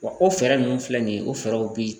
Wa o fɛɛrɛ ninnu filɛ nin ye o fɛɛrɛw bɛ ye